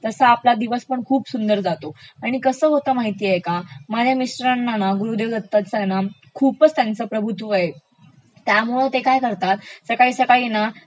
कसा आपला दिवसपण खूप सुंदर जातो, आणि कसं होतं माहितेय का माझ्या मिस्टरांना ना गुरूदेव दत्ताचं आहे ना खूपचं त्यांचं प्रभुत्व आहे, त्यामुळे ते काय करतात सकाळ कसाळ